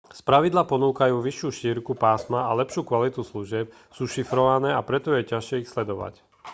spravidla ponúkajú vyššiu šírku pásma a lepšiu kvalitu služieb sú šifrované a preto je ťažšie ich sledovať